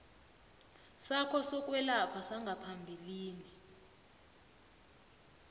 sakho sokwelapha sangaphambilini